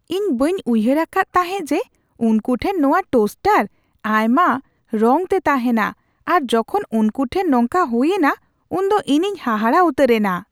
ᱤᱧ ᱵᱟᱹᱧ ᱩᱭᱦᱟᱹᱨ ᱟᱠᱟᱫ ᱛᱟᱦᱮᱸᱜ ᱡᱮ ᱩᱱᱠᱩ ᱴᱷᱮᱱ ᱱᱚᱶᱟ ᱴᱳᱥᱴᱟᱨ ᱟᱭᱢᱟ ᱨᱚᱝᱛᱮ ᱛᱟᱦᱮᱱᱟ ᱟᱨ ᱡᱚᱠᱷᱚᱱ ᱩᱱᱠᱩ ᱴᱷᱮᱱ ᱱᱚᱝᱠᱟ ᱦᱩᱭᱮᱱᱟ ᱩᱱᱫᱚ ᱤᱧᱤᱧ ᱦᱟᱦᱟᱲᱟ ᱩᱛᱟᱹᱨᱮᱱᱟ ᱾